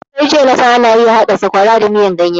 Sai jiya nasan ana iya haɗa sakwara da miyan ganye